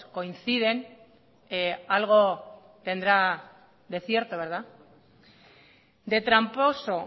coinciden algo tendrá de cierto verdad de tramposo